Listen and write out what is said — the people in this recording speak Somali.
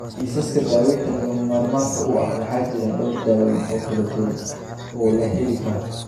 Kiisaska daawaynta lagama maarmaanka u ah, waxaa jira dhowr daawayn oo kala duwan oo la heli karo.